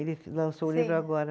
Ele lançou o livro agora.